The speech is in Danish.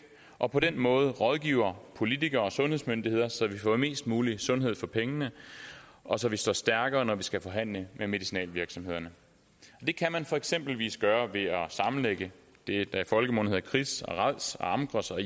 og på den måde rådgiver politikere og sundhedsmyndigheder så vi får mest mulig sundhed for pengene og så vi står stærkere når vi skal forhandle med medicinalvirksomhederne det kan man for eksempel gøre ved at sammenlægge det der i folkemunde hedder kris rads amgros og